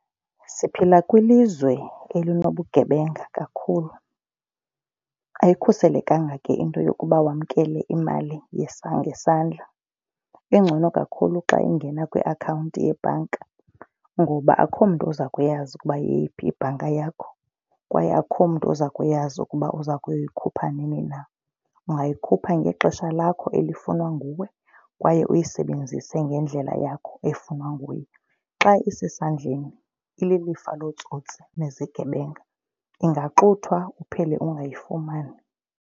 Siphila kwilizwe elinobugebenga kakhulu. Ayikhuselekanga ke into yokuba wamkele imali ngesandla. Ingcono kakhulu xa ungena kwiakhawunti yebhanka ngoba akukho mntu uza kuyazi ukuba yeyiphi ibhanka yakho kwaye akukho mntu uza kuyazi ukuba uza kuyikhupha nini na. Ungayikhupha ngexesha lakho elifunwa nguwe kwaye uyisebenzise ngendlela yakho efunwa nguye. Xa isesandleni ililifa lootsotsi nezigebenga ungaxuthwa uphele ungayifumani.